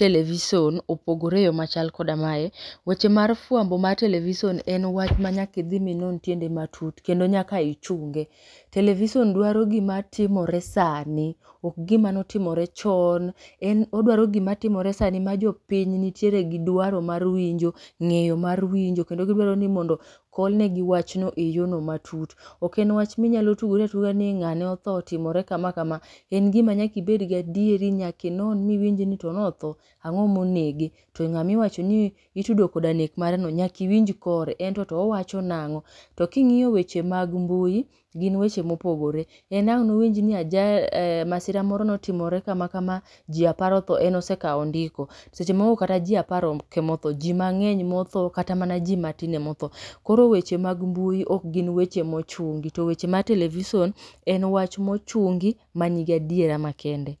television opogore eyo machalkoda mae. Weche mar fwambo mar television en wach ma nyakidhi minon tiende matut kendo nyaka ichunge. Television dwaro gima timore sani, ok gima notimore chon. En odwaro gima timore sani ma jopiny nitiere gi dwaro mar winjo, ng'eyo mar winjo. Kendo gidwaro ni mondo kolne gi wachno eyorno matut. Ok en wach minyalo tugori atuga ni ng'ane otho, otimore kama kama. En gima nyakibed gi adieri, miwinj ni to notho, ang'o monege. To ng'amiwacho ni itudo koda nek mareno, nyakiwinj kore. Ento to owacho nang'o, to king'iyo weche mag mbui, gin weche mopogore. En ang' nowinj ni ajal, masira moko notimore kama kama, ji apar otho en osekawo ondiko. Seche moko ok kata ji apar ok emotho, ji mang'eny motho kata mana ji mathin emotho. Koro weche mag mbui ok gin weche mochungi, to weche mar televison en wach mochungi ma nigi adiera ma kende.